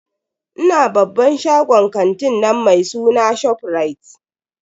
Ina babban shagon kantin nan mai suna ShopRite.